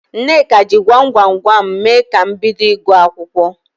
Nneka jị gwam gwam gwam mee ka m bido ịgụ akwụkwọ.